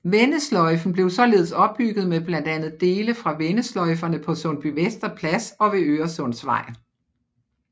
Vendesløjfen blev således opbygget med blandt andet dele fra vendesløjferne på Sundbyvester Plads og ved Øresundsvej